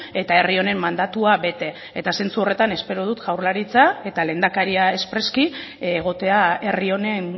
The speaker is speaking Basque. eta herri honen mandatua bete eta zentzu horretan espero dut jaurlaritza eta lehendakari espreski egotea herri honen